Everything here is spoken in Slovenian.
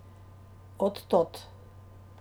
Od tod!